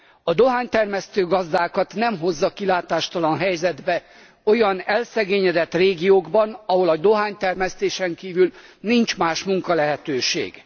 A dohánytermesztő gazdákat nem hozza kilátástalan helyzetbe olyan elszegényedett régiókban, ahol a dohánytermesztésen kívül nincs más munkalehetőség.